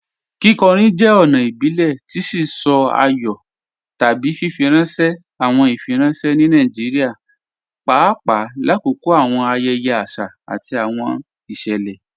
Kíkọ̀rín jẹ́ ọ̀na ìbílẹ̀ tì sí sọ̀ àyọ̀ tábí fífirànṣẹ̀ awọn ìfírànṣẹ̀ ní Nàìjíríà, pàpà làkọ̀kọ̀ awọn ayẹyẹ̀ àṣà àti awọn ìṣẹ́lẹ.